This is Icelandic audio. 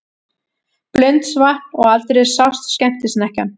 Blundsvatn og aldrei sást skemmtisnekkjan.